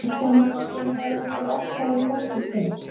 Kristján Már: Skynjarðu einhvern ótta á fólki í kring?